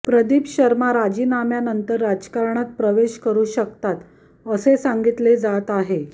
प्रदीप शर्मा राजीनाम्यानंतर राजकारणात प्रवेश करू शकतात असे सांगितले जात आहे